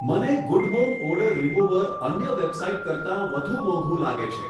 મને good home odour remover અન્ય website કરતાં વધુ મોંઘું લાગે છે.